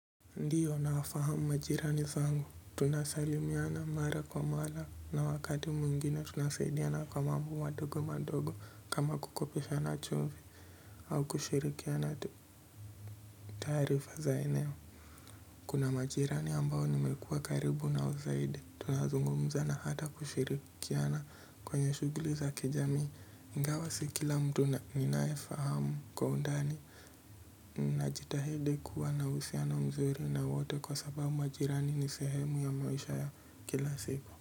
Ndiyo nafahamu majirani zangu, tunasalimiana mara kwa mara, na wakati mwingine tunasaidiana kwa mambo madogo madogo kama kukopeshana chumvi, au kushirikiana taarifa za eneo. Kuna majirani ambao nimekuwa karibu nao zaidi, tunazungumza na hata kushirikiana kwenye shughuli za kijamii, ingawa si kila mtu na, ninayefahamu kwa undani. Najitahidi kuwa na uhusiano mzuri na wote kwa sababu majirani ni sehemu ya maisha ya kila siku.